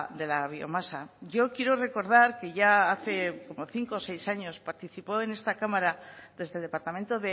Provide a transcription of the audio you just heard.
de la biomasa yo quiero recordar que ya hace como cinco o seis años participó en esta cámara desde departamento